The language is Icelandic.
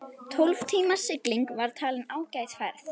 Tólf tíma sigling var talin ágæt ferð.